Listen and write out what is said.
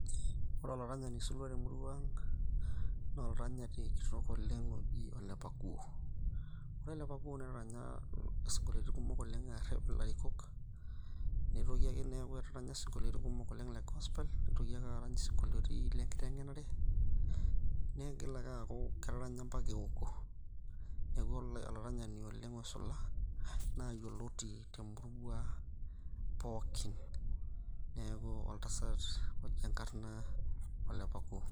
Ore olaranyani oisulua temurua aang na olaranyi kitok oji olepakuo ,Ore olepakuo netaranya sinkolioni kumok oleng nerep larikok nitoki ake netaranya sinkolioni kumok le gospel ,nitoki ake nerany isinkolioni le nkitengenare, nigila ake aaku tetaranya ambaka ewoko neaku olaranyani oleng oisula enkop na oyioloti oleng pookin neaku oltasat oji enkarna olepakuo.